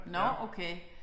Nåh okay